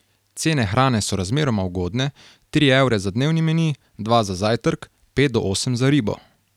Cene hrane so razmeroma ugodne, tri evre za dnevni meni, dva za zajtrk, pet do osem za ribo.